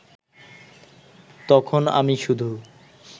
তখন আমি শুধু